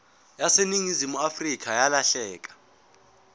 yaseningizimu afrika yalahleka